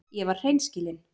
Ég var hreinskilin.